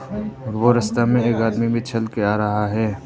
वह रास्ते में एक आदमी भी चल के आ रहा है।